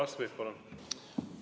Uno Kaskpeit, palun!